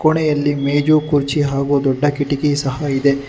ಕೊನೆಯಲ್ಲಿ ಮೇಜು ಕುರ್ಚಿ ಹಾಗೂ ದೊಡ್ಡ ಕಿಟಕಿ ಸಹ ಇದೆ.